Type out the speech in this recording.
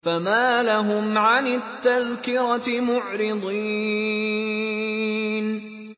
فَمَا لَهُمْ عَنِ التَّذْكِرَةِ مُعْرِضِينَ